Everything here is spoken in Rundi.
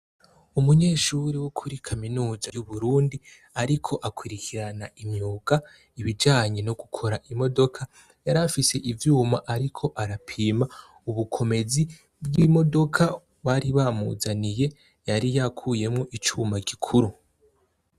Umunyeshure wo kuri kaminuza y'Uburundi ariko akurikirana imyuga, ibijanye no gukora imodoka. Yarafise ivyuma ariko arapima, ubukomezi bw'imodoka bari bamuzaniye, yari yakuyemwo icuma gikuru.